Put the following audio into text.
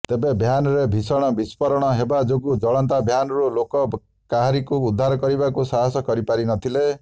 ତେବେ ଭ୍ୟାନରେ ଭିଷଣ ବିସ୍ଫୋରଣ ହେବା ଯୋଗୁ ଜଳନ୍ତା ଭ୍ୟାନରୁ ଲୋକେ କାହାରିକୁ ଉଦ୍ଧାର କରିବାକୁ ସାହାସ କରିପାରିନଥିଲେ